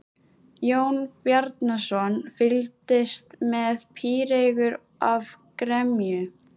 Jón Bjarnason fylgdist með píreygur af gremju.